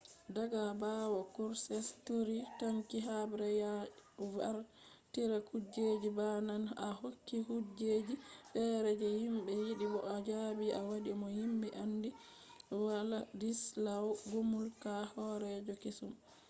daga bawo krushchev turi tanki habre ya wartira kujeji ba naane o hokki kujeji fere je himbe yidi bo o jabi o wadi mo himbe andi wladyslaw gomulka horeejo kesum